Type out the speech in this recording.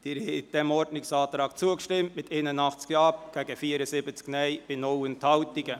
Sie haben diesem Ordnungsantrag zugestimmt mit 81 Ja- gegen 74 Nein-Stimmen bei 0 Enthaltungen.